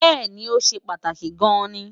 bẹ́ẹ̀̀ni, ó ṣe pàtàkì gan-an ni